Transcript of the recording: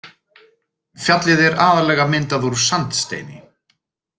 Fjallið er aðallega myndað úr sandsteini.